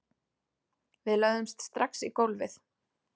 Við lögðumst strax í gólfið